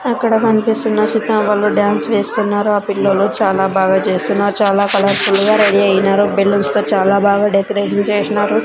అక్కడ కనిపిస్తున్న చిత్రం వాళ్ళు డాన్స్ వేస్తున్నారు ఆ పిల్లలు చాలా బాగా చేస్తున్నారు చాలా కలర్ ఫుల్ గా రెడీ అయినారు బెలూన్స్ తో చాలా బాగా డెకరేషన్ చేసినారు.